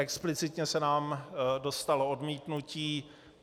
Explicitně se nám dostalo odmítnutí.